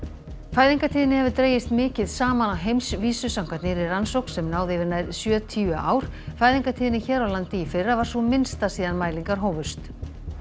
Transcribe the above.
fæðingartíðni hefur dregist mikið saman á heimsvísu samkvæmt nýrri rannsókn sem náði yfir nær sjötíu ár fæðingartíðni hér á landi í fyrra var sú minnsta síðan mælingar hófust